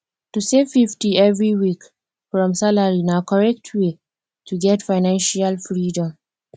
to save 50 every week from salary na correct way to get financial freedom